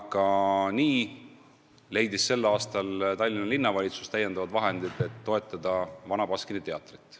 Ja nii leidis Tallinna Linnavalitsus tänavu täiendavad vahendid, et toetada Vana Baskini Teatrit.